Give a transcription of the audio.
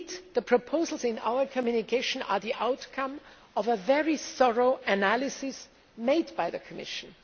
The proposals in the communication are the outcome of a very thorough analysis made by the Commission.